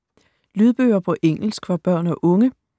Lydbøger på engelsk for børn og unge